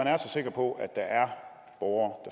er så sikker på at der er borgere